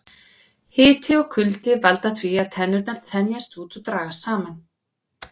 Hiti og kuldi valda því að tennurnar þenjast út og dragast saman.